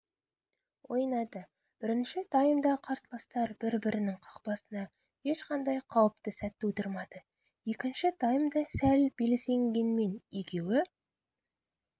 ойнады бірінші таймда қарсыластар бір-бірінің қақпасына ешқандай қауіпті сәт тудырмады екінші таймда сәл белсенгенмен екеуі